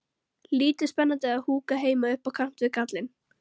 Lítið spennandi að húka heima upp á kant við kallinn.